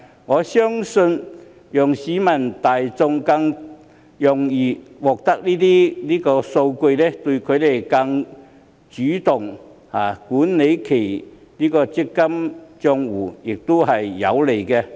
我相信讓市民大眾更容易獲取這些數據，有利於他們更主動管理其強積金帳戶。